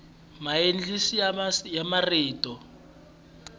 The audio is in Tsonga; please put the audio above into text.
maencisi ya marito